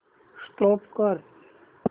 stop करा